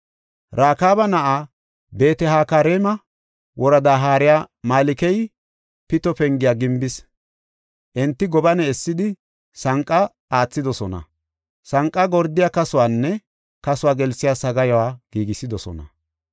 Rakaaba na7ay, Beet-Hakareema woradaa haariya Malkey Pito Pengiya gimbis. Enti gobane essidi, sanqa aathidosona; sanqa gordiya kasuwanne kasuwa gelsiya sagaayuwa giigisidosona.